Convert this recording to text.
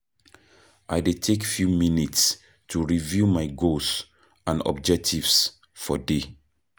I dey take few minutes to review my goals and objectives for day.